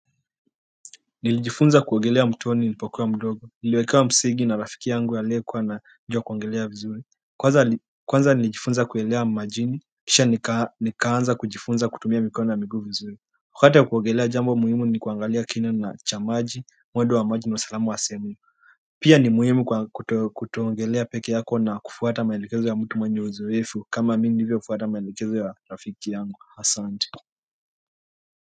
Nilijifunza kuogelea mtoni nilipokuwa mdogo. Niliwekewa msingi na rafiki yangu aliyekuwa anajua kuogelea vizuri. Kwanza nilijifunza kuelea majini, kisha nikaanza kujifunza kutumia mikono na miguu vizuri. Wakato kuogelea jambo muhimu ni kuangalia kina cha maji, mwendo wa maji na usalama wa sehemu. Pia ni muhimu kutoogelea peke yako na kufuata maelekezo ya mtu mwenye uzoefu kama mimi nilivyoamini, hivyo kufuata maelekezo ya rafiki yangu. Asante.